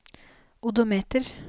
odometer